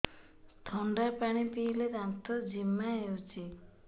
ଥଣ୍ଡା ପାଣି ପିଇଲେ ଦାନ୍ତ ଜିମା ହଉଚି